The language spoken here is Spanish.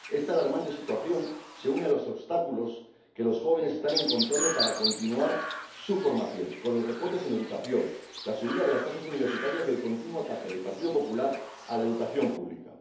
Esta alarmante situación se une a los obstáculos que los jóvenes están encontrando para continuar su formación los recortes en educación, la subida de las tasas universitarias y el continuo ataque del Partido Popular a la educación pública.